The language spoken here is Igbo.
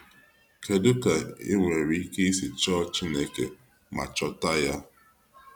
kedu ka i nwere ike isi chọọ Chineke ma chọta ya?